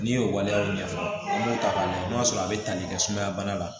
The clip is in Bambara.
N'i y'o waleyaw ɲɛfɔ an b'o ta k'a lajɛ n'a sɔrɔ a bɛ tali kɛ sumaya bana la